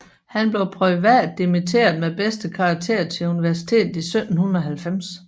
Han blev privat dimitteret med bedste karakter til universitetet i 1790